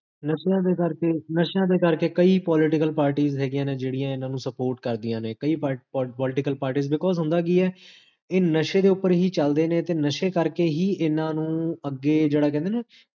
ਨਸ਼ਿਆਂ ਦੇ ਕਰ ਕੇ ਨ੍ਸ਼ਿਆਂ ਦੇ ਕਰ ਕੇ ਕਈ political parties ਹੈਗੀਆਂ ਨੇ, ਜੇਹੜੀਆਂ ਇੰਨਾ ਨੂੰ support ਕਰਦੀਆਂ ਨੇ ਕਈ political parties because ਹੁੰਦਾ ਕੀ ਹੈ, ਇਹ ਨਸ਼ੇ ਦੇ ਉਪਰ ਹੀ ਚਲਦੇ ਨੇ, ਤੇ ਨਸ਼ੇ ਕਰ ਕੇ ਹੀ ਇੰਨਾ ਨੂੰ ਅੱਗੇ ਜੇਹੜਾ ਕਹੰਦੇ ਨੇ ਨਾ